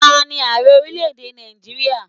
Taani Ààrẹ orílẹ̀ èdè Nàìjíríà?